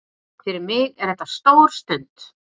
Fyrir mig er þetta stór stund